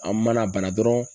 An mana bana dɔrɔn